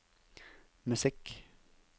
musikk